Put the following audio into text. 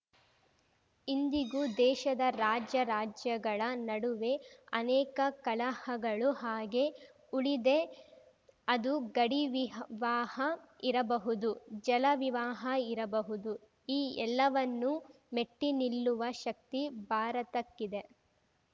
ಇಂದಿಗೂ ದೇಶದ ರಾಜ್ಯ ರಾಜ್ಯಗಳ ನಡುವೇ ಅನೇಕ ಕಲಹಗಳು ಹಾಗೇ ಉಳಿದೆ ಅದು ಗಡಿವಿಹಾ ವಾಹ ಇರಬಹುದು ಜಲ ವಿವಾಹ ಇರಬಹುದು ಈ ಎಲ್ಲವನ್ನು ಮೆಟ್ಟಿನಿಲ್ಲುವ ಶಕ್ತಿ ಭಾರತಕ್ಕಿದೆ